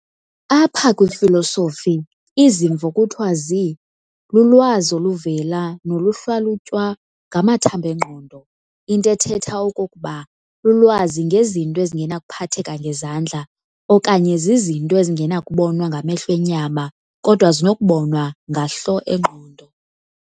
Apha kwifilosofi, izimvo kuthiwa zi"lulwazi oluvela noluhlalutywa ngamathamb'engqondo", into ethetha okokuba lulwazi ngezinto ezingenakuphatheka ngezandla okanye zizinto ezingenakubonwa ngamehlo enyama kodwa zinokubonwa ngahlo engqondo".